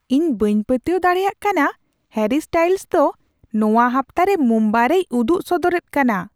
ᱤᱧ ᱵᱟᱹᱧ ᱯᱟᱹᱛᱭᱟᱹᱣ ᱫᱟᱲᱮᱭᱟᱜ ᱠᱟᱱᱟ ᱦᱮᱨᱤ ᱥᱴᱟᱭᱤᱞᱥ ᱫᱚ ᱱᱚᱣᱟ ᱦᱟᱯᱛᱟᱨᱮ ᱢᱩᱢᱵᱟᱭ ᱨᱮᱭ ᱩᱫᱩᱜ ᱥᱚᱫᱚᱨᱮᱫ ᱠᱟᱱᱟ ᱾